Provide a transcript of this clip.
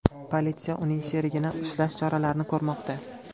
Politsiya uning sherigini ushlash choralarini ko‘rmoqda.